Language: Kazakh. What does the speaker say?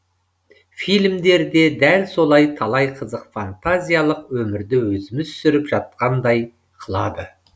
фильмдер де дәл солай талай қызық фантазиялық өмірді өзіміз сүріп жатқандай қылады